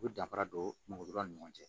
U bɛ danfara don mɔgɔ ni ɲɔgɔn cɛ